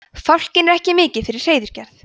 fálkinn er ekki mikið fyrir hreiðurgerð